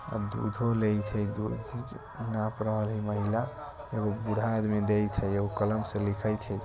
कलम बूढ़ा आदमी देई छ एक महिला कलम से लिख रिहल छ।